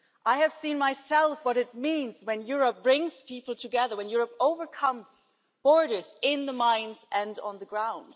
I have seen for myself what it means when Europe brings people together, when Europe overcomes borders in the mines and on the ground.